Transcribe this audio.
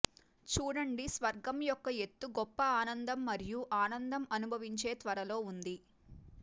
చూడండి స్వర్గం యొక్క ఎత్తు గొప్ప ఆనందం మరియు ఆనందం అనుభవించే త్వరలో ఉంది